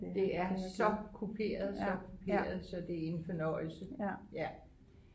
det er så kuperet så kuperet så det er en fornøjelse